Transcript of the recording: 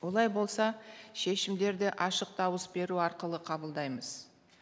олай болса шешімдерді ашық дауыс беру арқылы қабылдаймыз